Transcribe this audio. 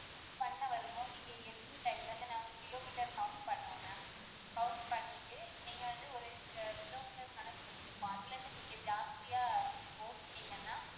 பண்ண வருவோம் நீங்க எடுத்த time ல இருந்து நாங்க கிலோமீட்டர் count பண்ணுவோம் ma'am, count பண்ணிட்டு நீங்க வந்து ஒரு கிலோமீட்டர் கணக்கு இருக்கும் அதுல நீங்க ஜாஸ்தியா ஓட்டுனீங்கன்னா,